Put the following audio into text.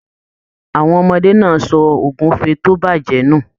Àwọn ọmọdé náà sọ ogúnfe to bajẹ ni.